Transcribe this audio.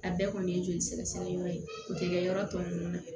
A bɛɛ kɔni ye joli sɛgɛsɛgɛ yɔrɔ ye o tɛ kɛ yɔrɔ tɔ ninnu na